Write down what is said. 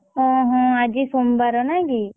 ହଁ ହଁ ଆଜି ସୋମବାର ନାଇଁ କି?